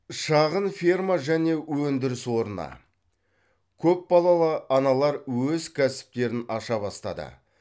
шағын ферма және өндіріс орны көпбалалы аналар өз кәсіптерін аша бастады